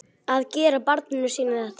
Að gera barninu sínu þetta!